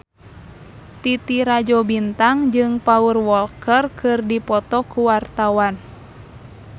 Titi Rajo Bintang jeung Paul Walker keur dipoto ku wartawan